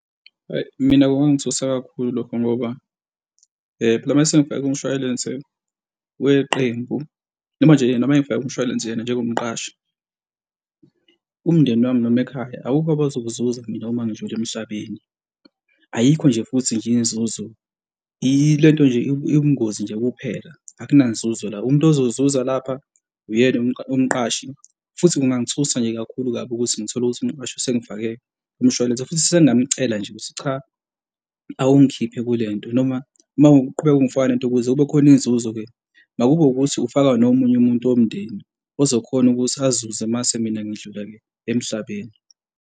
Hhayi, mina kungangithusa kakhulu lokho, ngoba noma sengifake kumshwalense weqembu noma nje noma engifake kumshwalense yena njengomqashi, umndeni wami noma ekhaya akukho abazokuzuza mina uma ngidlula emhlabeni ayikho, nje futhi nje inzuzo ilento nje, iwubungozi nje kuphela akuna nzuzo la. Umuntu ozozuza lapha uyena umqashi futhi kungangithusa nje kakhulu kabi ukuthi ngithole ukuthi umqashi sengifake kumshwalense futhi sengamcela nje ukuthi cha, awungikhiphe kule nto noma mawuqhubeka ungifakela kule nto ukuze kube khona inzuzo-ke makube ukuthi ufaka nomunye umuntu womndeni ozokhona ukuthi azuze umase mina sengidlula-ke emhlabeni.